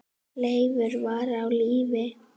Leifur var á lífi.